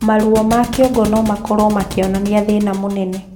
Maruo ma kĩongo nomakorwo makĩonania thĩna mũnene